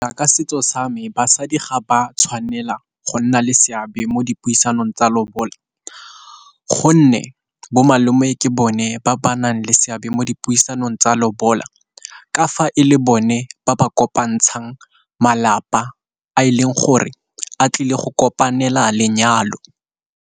Ka setso sa me basadi ga ba tshwanela go nna le seabe mo dipuisanong tsa lobola, gonne bo malome ke bone ba ba nang le seabe mo mo dipuisanong tsa lobola ka fa e le bone ba ba kopantshang malapa a e leng gore a tlile go kopanela lenyalo.